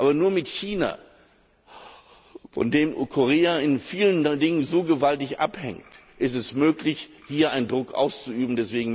Aber nur mit China, von dem Korea in vielen Dingen so gewaltig abhängt, ist es möglich, hier Druck auszuüben.